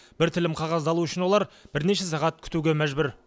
бір тілім қағазды алу үшін олар бірнеше сағат күтуге мәжбүр